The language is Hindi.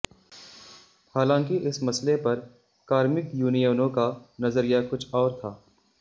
हालांकि इस मसले पर कार्मिक यूनियनों का नजरिया कुछ और था